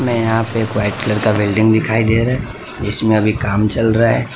में यहां पे वाइट कलर का बिल्डिंग दिखाई दे रहे जिसमें अभी काम चल रहा है।